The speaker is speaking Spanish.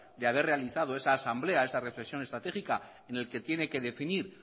de haber realizado esa asamblea esa reflexión estratégica en el que tiene que definir